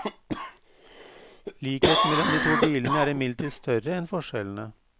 Likheten mellom de to bilene er imidlertid større enn forskjellene.